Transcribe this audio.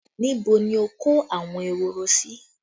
Níbo ni ó kó àwọn ehoro sí?